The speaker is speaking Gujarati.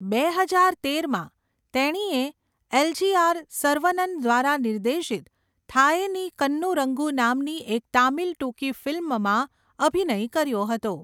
બે હજાર તેરમાં, તેણીએ એલ.જી.આર. સરવનન દ્વારા નિર્દેશિત 'થાયેની કન્નૂરંગુ' નામની એક તામિલ ટૂંકી ફિલ્મમાં અભિનય કર્યો હતો.